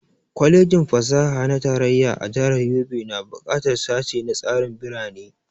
Kwalejin fasaha na tarayya a jihar Yobe na buƙatar sashe na tsarin birane